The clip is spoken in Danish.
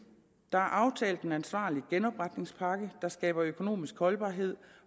der er aftalt en ansvarlig genopretningspakke der skaber økonomisk holdbarhed